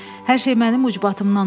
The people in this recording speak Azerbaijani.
Hər şey mənim ucbatımdan oldu.